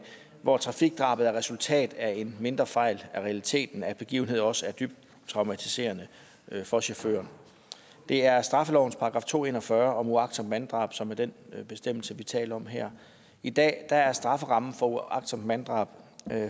hvor trafikdrabet er resultatet af en mindre fejl er realiteten at begivenheden også er dybt traumatiserende for chaufføren det er straffelovens § to hundrede og en og fyrre om uagtsomt manddrab som er den bestemmelse vi taler om her i dag er strafferammen for uagtsomt manddrab